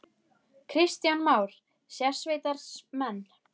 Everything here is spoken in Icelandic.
Kristján Már: Sérsveitarmenn?